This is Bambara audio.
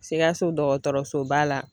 Sikaso dɔgɔtɔrɔsoba la